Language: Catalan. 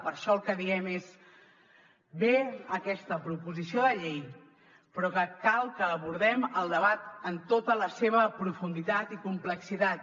per això el que diem és bé aquesta proposició de llei però que cal que abordem el debat en tota la seva profunditat i complexitat